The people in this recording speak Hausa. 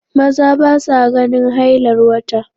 Maza ba sa ganin hailar wata.